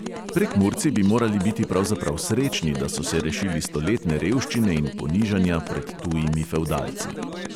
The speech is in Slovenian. Prekmurci bi morali biti pravzaprav srečni, da so se rešili stoletne revščine in ponižanja pred tujimi fevdalci.